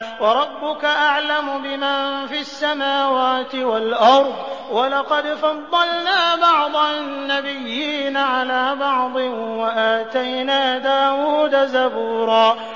وَرَبُّكَ أَعْلَمُ بِمَن فِي السَّمَاوَاتِ وَالْأَرْضِ ۗ وَلَقَدْ فَضَّلْنَا بَعْضَ النَّبِيِّينَ عَلَىٰ بَعْضٍ ۖ وَآتَيْنَا دَاوُودَ زَبُورًا